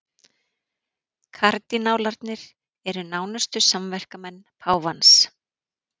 Kardinálarnir eru nánustu samverkamenn páfans